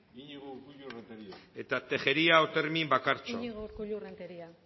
iñigo urkullu renteria tejeria otermin bakartxo iñigo urkullu renteria